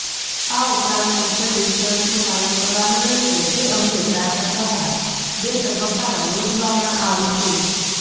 આ ઉપરાંત સોશ્યલ ડીસ્ટન્સનું પાલન કરવાનુ રહેશે જે અંગે પ્રાર્થનાસભા બે તબક્કામાં યોજવામાં આવશે